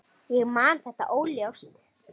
Ég man þetta óljóst.